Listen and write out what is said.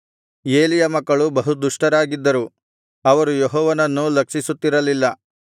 ಏಲಿಯ ಮಕ್ಕಳು ಬಹುದುಷ್ಟರಾಗಿದ್ದರು ಅವರು ಯೆಹೋವನನ್ನು ಲಕ್ಷಿಸುತ್ತಿರಲಿಲ್ಲ